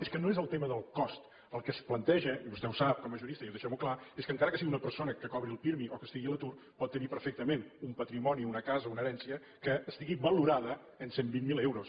és que no és el tema del cost el que es planteja i vostè ho sap com a jurista i deixem ho clar és que encara que sigui una persona que cobri el pirmi o que estigui a l’atur pot tenir perfectament un patrimoni una casa o una herència que estigui valorada en cent i vint miler euros